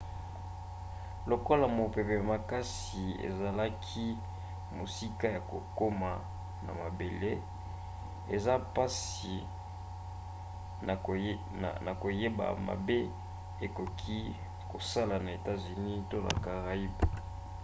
lokola mopepe makasi ezalaki mosika ya kokoma na mabele eza mpasi na koyeba mabe ekoki kosala na etats-unis to na caraïbes